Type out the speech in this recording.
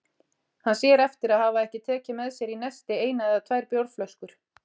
Hann sér eftir að hafa ekki tekið með sér í nesti eina eða tvær bjórflöskur.